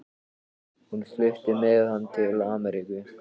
Hún flutti með hann til Ameríku.